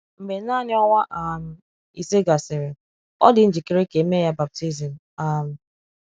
Mgbe naanị ọnwa um ise gasịrị, ọ dị njikere ka e mee ya baptizim. um